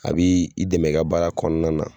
A bi dɛmɛ i ka baara kɔnɔna na